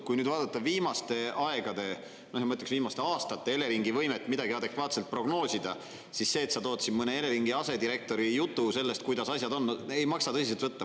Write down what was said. Kui nüüd vaadata viimaste aegade, ma ütleksin, viimaste aastate Eleringi võimet midagi adekvaatselt prognoosida, siis see, et sa tood siin mõne Eleringi asedirektori jutu sellest, kuidas asjad on – ei maksa tõsiselt võtta.